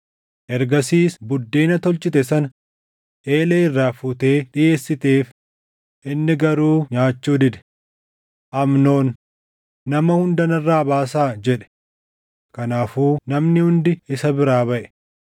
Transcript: Ergasiis buddeena tolchite sana eelee irraa fuutee dhiʼeessiteef; inni garuu nyaachuu dide. Amnoon, “Nama hunda narraa baasaa” jedhe. Kanaafuu namni hundi isa biraa baʼe.